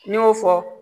N'i y'o fɔ